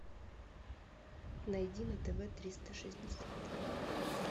найди на тв триста шестьдесят